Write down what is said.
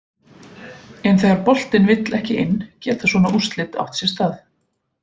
En þegar boltinn vill ekki inn geta svona úrslit átt sér stað.